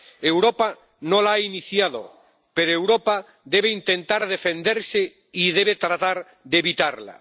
Europa no la ha iniciado, pero Europa debe intentar defenderse y debe tratar de evitarla.